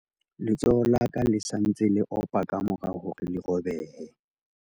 letsoho la ka le sa ntse le opa ka mora hore le robehe